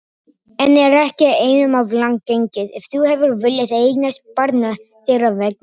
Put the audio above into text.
En er ekki einum of langt gengið, ef þú hefur viljað eignast barn þeirra vegna?